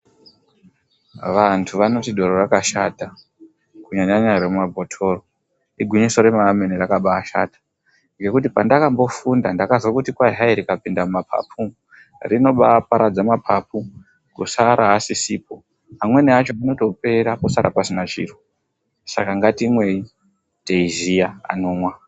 Vantu vanoti doro rakashata kunyanyanya remumabhothoro. Igwinyiso remene rakambaashata ngekuti pandakambofunda ndakazwe kuti kwai hai rikapinde mumapapu rinobaaparadza mapapu kusara asisipo. Amweni acho anotopera posara pasina chiro. Saka ngatimwei teiziya anomwa.